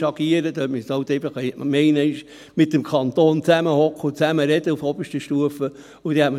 Dort müsste halt einfach die Gemeinde einmal mit dem Kanton zusammensitzen und auf oberster Stufe zusammen sprechen.